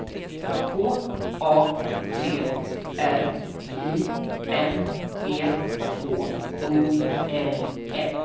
K A T R I N E H O L M